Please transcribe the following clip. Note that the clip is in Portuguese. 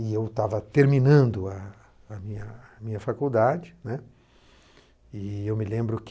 E eu estava terminando a, a minha, minha faculdade, né, e eu me lembro que